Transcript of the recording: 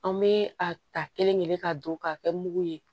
An bɛ a ta kelen kelen ka don ka kɛ mugu ye